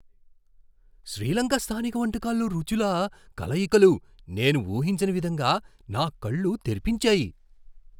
శ్రీ లంక స్థానిక వంటకాల్లో రుచుల కలయికలు నేను ఊహించని విధంగా నా కళ్ళు తెరిపించాయి.